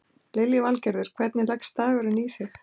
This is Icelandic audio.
Lillý Valgerður: Hvernig leggst dagurinn í þig?